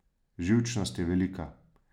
Živčnost je velika.